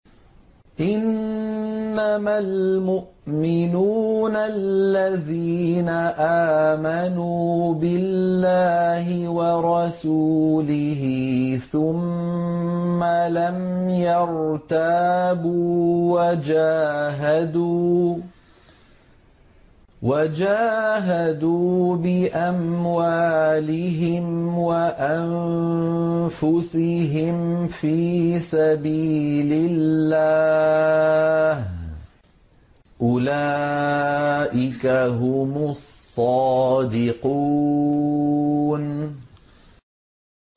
إِنَّمَا الْمُؤْمِنُونَ الَّذِينَ آمَنُوا بِاللَّهِ وَرَسُولِهِ ثُمَّ لَمْ يَرْتَابُوا وَجَاهَدُوا بِأَمْوَالِهِمْ وَأَنفُسِهِمْ فِي سَبِيلِ اللَّهِ ۚ أُولَٰئِكَ هُمُ الصَّادِقُونَ